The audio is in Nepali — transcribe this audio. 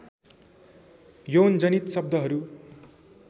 यौनजनित शब्दहरू